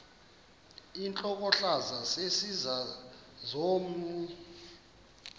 intlokohlaza sesisaz omny